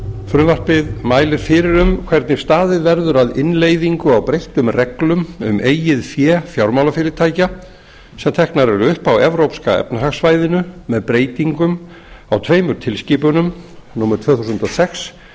frumvarpið mælir fyrir um hvernig staðið verður að innleiðingu á breyttum reglum um eigið fé fjármálafyrirtækja sem teknar eru upp á evrópska efnahagssvæðinu með breytingum á tveimur tilskipunum númer tvö þúsund og sex